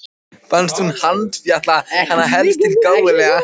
Fannst hún handfjatla hana helst til gáleysislega.